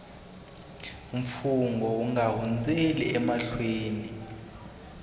mfungho u nga hundzeli emahlweni